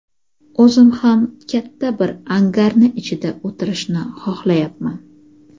o‘zim ham katta bir angarni ichida o‘tirishni xohlayapman.